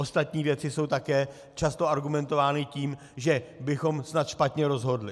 Ostatní věci jsou také často argumentovány tím, že bychom snad špatně rozhodli.